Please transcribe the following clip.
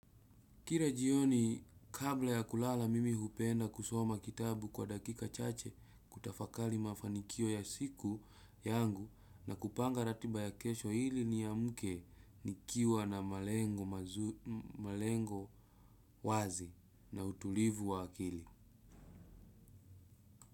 Kira jioni kabla ya kulala mimi hupenda kusoma kitabu kwa dakika chache kutafakali mafanikio ya siku yangu na kupanga ratiba ya kesho hili ni ya muke nikiwa na malengo wazi na utulivu wa akili.